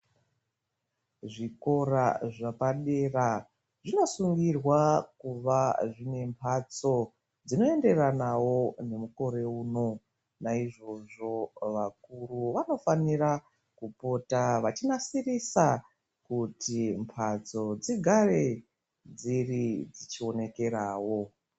Zvikora zvepadera zvinosungirwa kuva zvinemhatso dzinoenderanawo nemukore uno. Naizvozvo vakuru vanofanira kupota vachinasirisa kuti mhatso dzigare dziri dzichionekerawo.